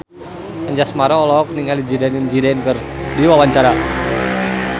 Anjasmara olohok ningali Zidane Zidane keur diwawancara